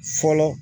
Fɔlɔ